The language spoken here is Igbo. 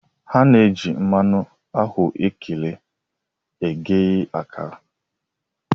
A na-eji mmanụ ahụekere eghe akara.